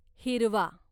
हिरवा